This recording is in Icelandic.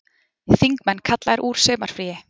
Þingmenn kallaðir úr sumarfríi